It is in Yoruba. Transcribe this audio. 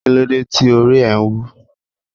Kílódé tí orí ẹ wú?